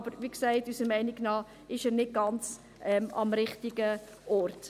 Aber wie gesagt: Unserer Meinung nach ist er nicht ganz am richtigen Ort.